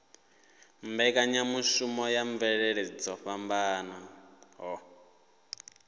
mbekanyamushumo ya mvelele dzo fhambanaho